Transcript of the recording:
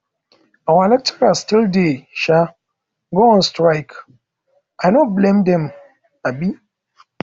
our lecturers still dey um go on strike i um no blame dem um